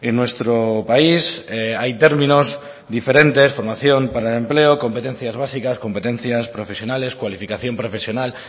nuestro país hay términos diferentes como formación para el empleo competencias básicas competencias profesionales cualificación profesional